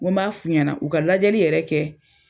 Ŋo n b'a f'u ɲɛna u ka lajɛli yɛrɛ kɛ